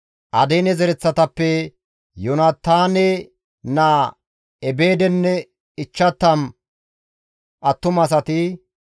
Adiine zereththatappe Yoonataane naa Ebeedenne 50 attumasati,